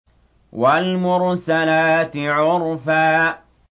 وَالْمُرْسَلَاتِ عُرْفًا